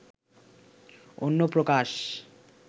Anyaprokash